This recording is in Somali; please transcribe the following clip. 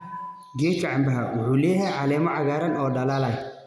Geedka cambe wuxuu leeyahay caleemo cagaaran oo dhalaalaya.